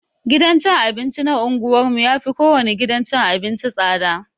Gidan cin abinci na unguwar mu yafi kowane gidan cin abinci tsada.